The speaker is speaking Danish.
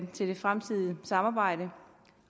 til det fremtidige samarbejde